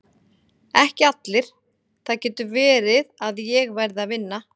Ekki allir, það getur verið að ég verði að vinna.